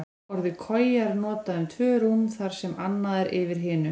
Orðið koja er notað um tvö rúm þar sem annað er yfir hinu.